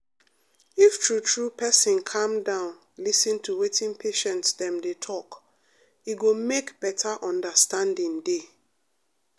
if true true person calm down lis ten to wetin patients dem dey talk e go make better understanding dey.